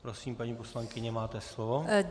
Prosím, paní poslankyně, máte slovo.